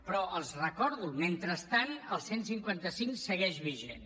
però els ho recordo mentrestant el cent i cinquanta cinc segueix vigent